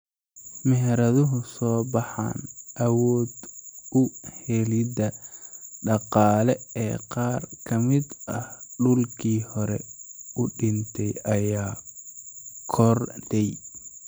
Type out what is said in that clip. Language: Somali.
Meheraduhu way soo baxaan, awood-u-helidda dhaqaale ee qaar ka mid ah dhulkii hore u dhintay ayaa kordhay.